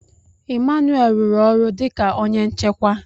Emmanuel rụrụ ọrụ dị ka onye nchekwa.